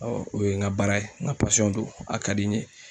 o ye n ka baara ye n ka don a ka di n ye.